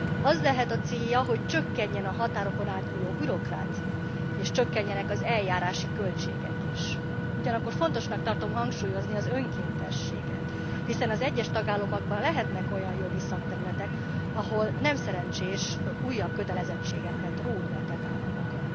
Az lehet a célja, hogy csökkenjen a határokon átnyúló bürokrácia, és csökkenjenek az eljárási költségek is. Ugyanakkor fontosnak tartom hangsúlyozni az önkéntességet. Hiszen az egyes tagállamokban lehetnek olyan jogi szakterületek, ahol nem szerencsés újabb kötelezettségeket róni a tagállamokra.